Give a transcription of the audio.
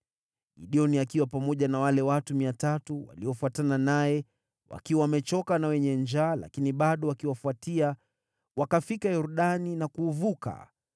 Gideoni akiwa pamoja na wale watu 300 waliofuatana naye, wakiwa wamechoka na wenye njaa lakini bado wakiwafuatia, wakafika Yordani na kuuvuka.